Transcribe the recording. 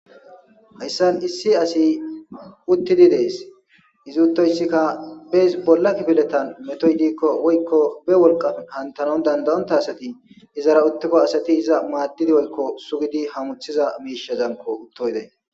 hayssan issi asi uttidi dees izuttoyssikka bees bolla kifidetan metoy diikko woykko be wolqaf hantanon dandayonta asati izara uttikko asati iza maaddidi woykko sugidi hamuthiza miishazanko uttoyday